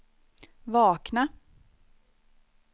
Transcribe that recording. vakna